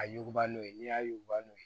A yuguba n'o ye n'i y'a yuguba n'o ye